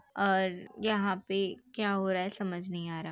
और यहां पे क्या हो रहा है समझ नहीं आ रहा।